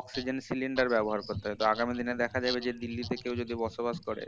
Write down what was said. oxygen cylinder ব্যবহার করতে হয় আগামী দিনে দেখা যাবে যে দিল্লিতে কেও যদি বসবাস করে